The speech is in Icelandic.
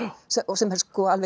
sem er alveg